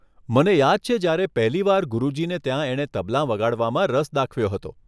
મને યાદ છે જયારે પહેલી વાર ગુરુજીને ત્યાં એણે તબલાં વગાડવામાં રસ દાખવ્યો હતો.